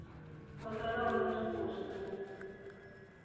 vho sala nga zwifuwo zwiṱuku